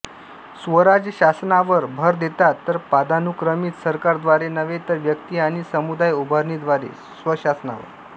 स्वराज शासनावर भर देतात पदानुक्रमित सरकारद्वारे नव्हे तर व्यक्ती आणि समुदाय उभारणीद्वारे स्वशासनावर